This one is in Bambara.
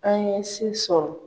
An ye se sɔrɔ.